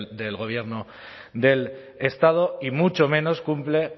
del gobierno del estado y mucho menos cumple